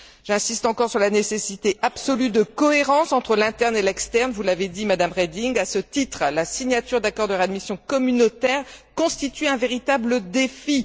J'insiste encore sur la nécessité absolue de cohérence entre l'interne et l'externe, vous l'avez dit, Madame Reding. À ce titre, la signature d'accords de réadmission communautaires constitue un véritable défi.